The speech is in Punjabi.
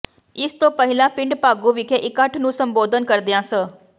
ਇਸ ਤੋਂ ਪਹਿਲਾਂ ਪਿੰਡ ਭਾਗੂ ਵਿਖੇ ਇਕੱਠ ਨੂੰ ਸੰਬੋਧਨ ਕਰਦਿਆਂ ਸ